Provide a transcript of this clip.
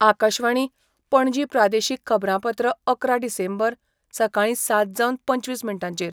आकाशवाणी, पणजी प्रादेशीक खबरांपत्र अकरा डिसेंबर, सकाळीं सात जावन पंचवीस मिनटांचेर